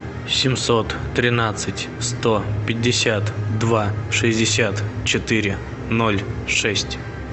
семьсот тринадцать сто пятьдесят два шестьдесят четыре ноль шесть